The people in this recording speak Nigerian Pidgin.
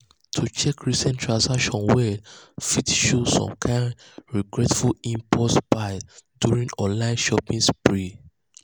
to check recent transactions well fit show some kain regretful impulse buys during online shopping sprees.